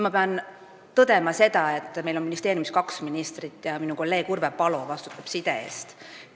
Aga pean tõdema, et meil on ministeeriumis kaks ministrit ja minu kolleeg Urve Palo vastutab side eest.